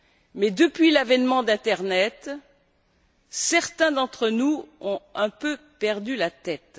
Mais, depuis l'avènement de l'internet, certains d'entre nous ont un peu perdu la tête.